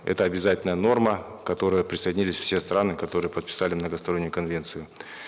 это обязательная норма к которой присоединились все страны которые подписали многостороннюю конвенцию